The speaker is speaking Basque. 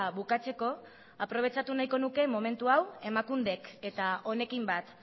bukatzeko ere aprobetxatu nahiko nuke momentu hau emakundek eta honekin bat